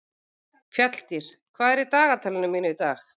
Fjalldís, hvað er í dagatalinu mínu í dag?